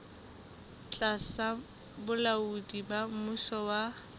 tlasa bolaodi ba mmuso wa